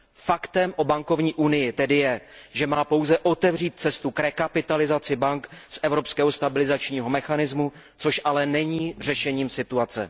Faktem o bankovní unii tedy je, že má pouze otevřít cestu k rekapitalizaci bank z evropského stabilizačního mechanismu, což ale není řešením situace.